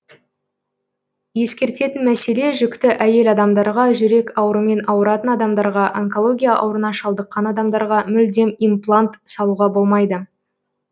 ескертетін мәселе жүкті әйел адамдарға жүрек аурымен аурытан адамдарға онкология аурына шалдыққан адамдарға мүлдем имплант салуға болмайды